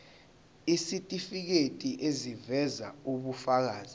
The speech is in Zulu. isitifiketi eziveza ubufakazi